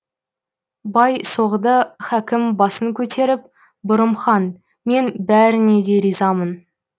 бай соғды хакім басын көтеріп бұрым хан мен бәріңе де ризамын